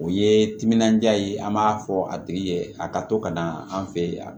O ye timinandiya ye an b'a fɔ a tigi ye a ka to ka na an fɛ yen